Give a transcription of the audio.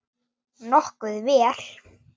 Nokkuð vel.